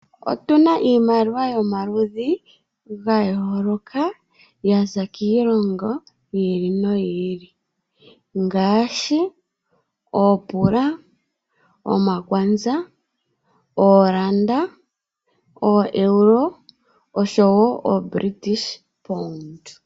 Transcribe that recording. Otu na iimaliwa yomaludhi ga yooloka, ya za kiilongo yi ili noyi ili ngaashi oopula, omakwanza, oolanda, ooEuro oshowo ooBritish pound.